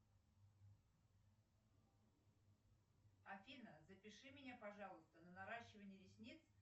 афина запиши меня пожалуйста на наращивание ресниц